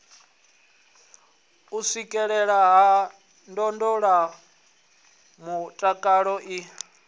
u swikelelea ha ndondolamutakalo i